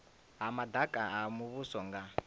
ha madaka a muvhuso nga